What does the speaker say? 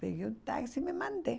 Peguei um táxi e me mandei.